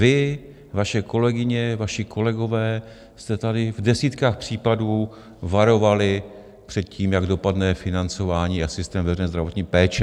Vy, vaše kolegyně, vaši kolegové jste tady v desítkách případů varovali před tím, jak dopadne financování a systém veřejné zdravotní péče.